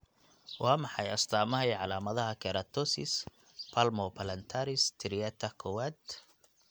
Waa maxay astamaha iyo calaamadaha Keratosis palmoplantaris striata kowad?